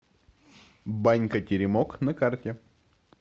банька теремок на карте